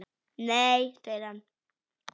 Nei segir hann.